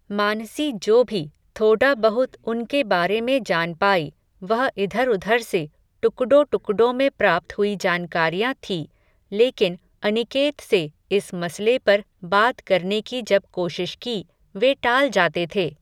मानसी जो भी, थोडा बहुत उनके बारे में जान पाई, वह इधर उधर से, टुकडों टुकडों में, प्राप्त हुई जानकारियां थी, लेकिन, अनिकेत से, इस मसले पर, बात करने की जब कोशिश की, वे टाल जाते थे